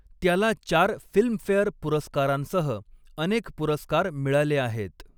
त्याला चार फिल्मफेअर पुरस्कारांसह अनेक पुरस्कार मिळाले आहेत.